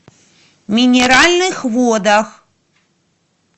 минеральных водах